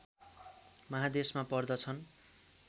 महादेशमा पर्छदन्